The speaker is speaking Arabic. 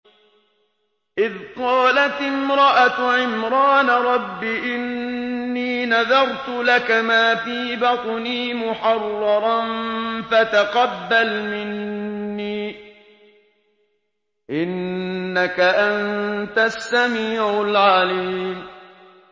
إِذْ قَالَتِ امْرَأَتُ عِمْرَانَ رَبِّ إِنِّي نَذَرْتُ لَكَ مَا فِي بَطْنِي مُحَرَّرًا فَتَقَبَّلْ مِنِّي ۖ إِنَّكَ أَنتَ السَّمِيعُ الْعَلِيمُ